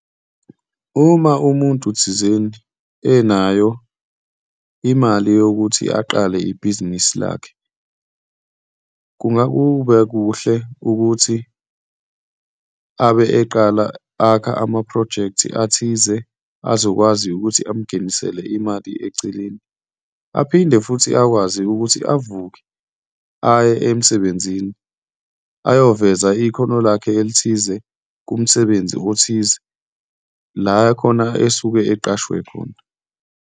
Uma umuntu thizeni enayo imali yokuthi aqale ibhizinisi lakhe, kungakubekuhle ukuthi abe eqala akha amaphrojekthi athize azokwazi ukuthi amungenisela imali eceleni, aphinde futhi akwazi ukuthi avuke aye emsebenzini ayoveza ikhono lakhe elithize kumsebenzi othize, la khona esuke eqashwe khona.